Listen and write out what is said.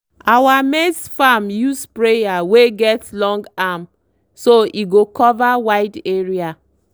our maize farm use sprayer wey get long arm so e go cover wide area.